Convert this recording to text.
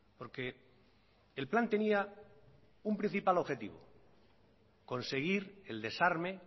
porque el plan tenía un principal objetivo conseguir el desarme